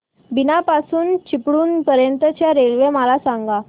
बीना पासून चिपळूण पर्यंत च्या रेल्वे मला सांगा